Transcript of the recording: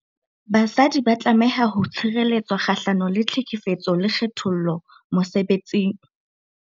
Basadi ba tlameha ho tshireletswa kgahlano le tlhekefetso le kgethollo mosebetsing.